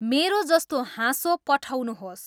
मेरो जस्तो हाँसो पठाउनुहोस्